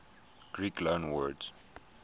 greek loanwords